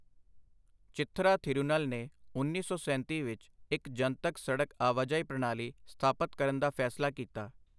ਚਿਥਰਾ ਥਿਰੂਨਲ ਨੇ ਉੱਨੀ ਸੌ ਸੈਂਤੀ ਵਿੱਚ ਇੱਕ ਜਨਤਕ ਸੜਕ ਆਵਾਜਾਈ ਪ੍ਰਣਾਲੀ ਸਥਾਪਤ ਕਰਨ ਦਾ ਫੈਸਲਾ ਕੀਤਾ।